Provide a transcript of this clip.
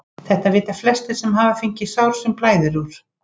Þetta vita flestir sem hafa fengið sár sem blæðir úr.